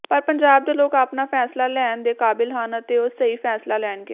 ਪਰ ਪੰਜਾਬ ਦੇ ਲੋਕ ਆਪਣਾ ਫੈਸਲਾ ਲੈਣ ਦੇ ਕਾਬਲ ਹਨ ਅਤੇ ਉਹ ਸਹੀ ਫੈਸਲਾ ਲੈਣਗੇ